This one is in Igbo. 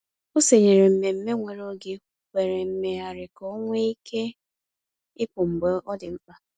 O sonyeere mmemme nwere oge kwere mmegharị ka o nwe ike ịpụ mgbe ọ dị mkpa.